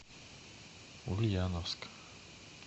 ульяновск